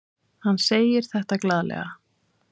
Hann segir þetta glaðlega.